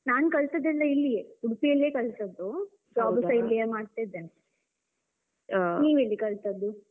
ನಾನ್ ಕಲ್ತದೆಲ್ಲ ಇಲ್ಲಿಯೇ, ಉಡುಪಿಯಲ್ಲಿಯೇ ಕಲ್ತದ್ದೂ, job ಸ ಇಲ್ಲಿಯೇ ಮಾಡ್ತಿದ್ದೇನೆ. ನೀವ್ ಎಲ್ಲಿ ಕಲ್ತದ್ದೂ?